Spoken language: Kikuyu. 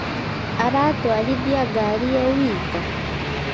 Aratwarithĩa ngari e wika